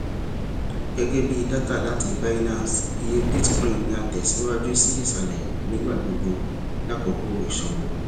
gẹgẹbi data lati binance iye bitcoin ni a tẹ siwaju si isalẹ ni igbagbogbo lakoko iṣowo